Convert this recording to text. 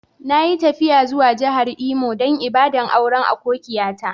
Na yi tafiya zuwa jihar Imo dan ibada'n auren akokiya ta.